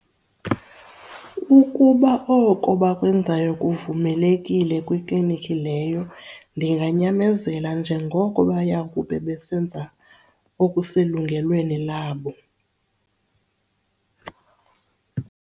Ukuba oko bakwenzayo kuvumelekile kwiiklinikhi leyo ndinganyamezela njengoko baya kube besenza okuselungelweni labo.